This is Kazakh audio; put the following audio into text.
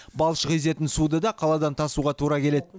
балшық езетін суды да қаладан тасуға тура келеді